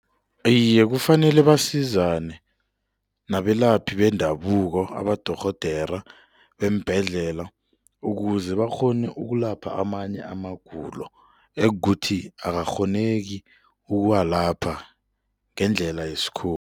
Iye, kufanele basizane nabelaphi bendabuko, abadorhodere beembhedlela ukuze bakghone ukulapha amanye amagulo ekukuthi akukghoneki ukuwalapha ngendlela yesikhuwa.